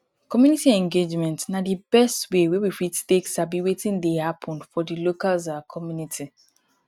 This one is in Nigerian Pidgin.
community engagement na di best way wey we fit take sabi wetin dey happen for di local um communities